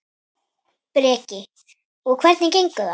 Breki: Og hvernig gengur það?